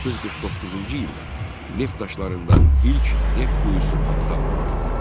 1949-cu ildə neft daşlarında ilk neft quyusu fantan vurdu.